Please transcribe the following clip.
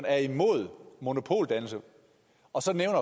er imod monopoldannelse og så nævne